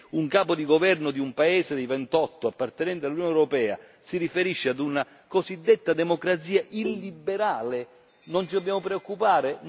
Se un capo di governo di un paese dei 28 appartenenti all'Unione europea si riferisce ad una cosiddetta democrazia illiberale non ci dobbiamo preoccupare?